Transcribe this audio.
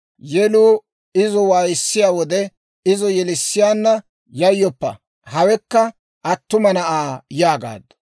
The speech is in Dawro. Yeluu izo waayisseedda wode izo yelissiyaana, «Yayyoppa; hawekka attuma na'aa» yaagaaddu.